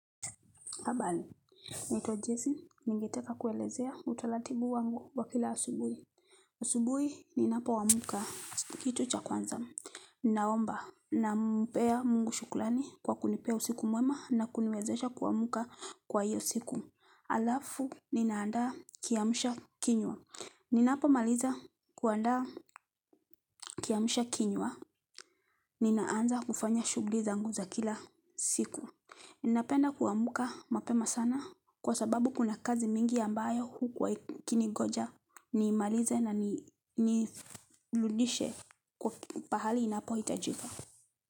Habari, naitwa Jesse. Ningeteka kuelezea utaratibu wangu wa kila asubuhi. Asubui, ninapo amka kitu cha kwanza. Ninaomba nampea Mungu shukrani kwa kunipea usiku mwema na kuniwezesha kuamka kwa hiyo siku. Halafu, ninaanda kiamsha kinywa. Ninapo maliza kuandaa kiamsha kinywa, ninaanza kufanya shughuli zangu za kila siku. Ninapenda kuamka mapema sana kwa sababu kuna kazi mingi ambayo hukuwa ikini ngoja nimalize na nirudishe kwa pahali inapohitajika.